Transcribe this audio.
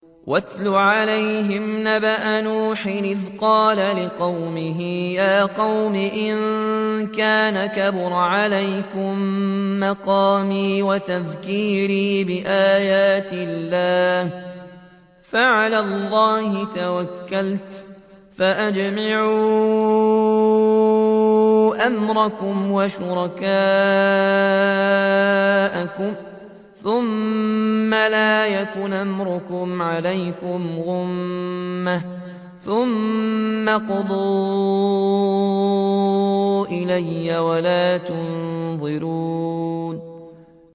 ۞ وَاتْلُ عَلَيْهِمْ نَبَأَ نُوحٍ إِذْ قَالَ لِقَوْمِهِ يَا قَوْمِ إِن كَانَ كَبُرَ عَلَيْكُم مَّقَامِي وَتَذْكِيرِي بِآيَاتِ اللَّهِ فَعَلَى اللَّهِ تَوَكَّلْتُ فَأَجْمِعُوا أَمْرَكُمْ وَشُرَكَاءَكُمْ ثُمَّ لَا يَكُنْ أَمْرُكُمْ عَلَيْكُمْ غُمَّةً ثُمَّ اقْضُوا إِلَيَّ وَلَا تُنظِرُونِ